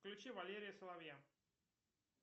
включи валерия соловья